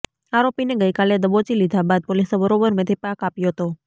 આરોપીને ગઈકાલે દબોચી લીધા બાદ પોલીસે બરોબર મેથીપાક આપ્યો હતો